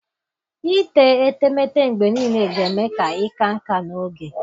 Ite etemeete mgbe niile ga-eme ka ịka nká n'oge